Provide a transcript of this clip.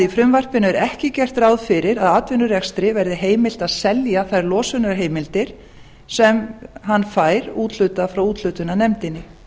frumvarpinu er ekki gert ráð fyrir að atvinnurekstri verði heimilt að selja þær losunarheimildir sem hann fær úthlutað frá úthlutunarnefndinni